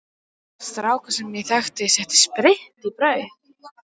Strákur sem ég þekki setti spritt í brauð.